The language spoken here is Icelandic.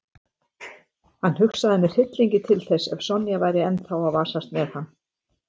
Hann hugsaði með hryllingi til þess ef Sonja væri ennþá að vasast með hann.